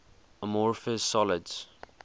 amorphous solids